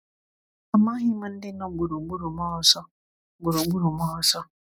Amaghị m ndị nọ gburugburu m ọzọ. gburugburu m ọzọ.